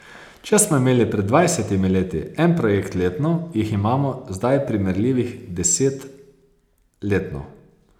Če smo imeli pred dvajsetimi leti en projekt letno, jih imamo zdaj primerljivih deset letno.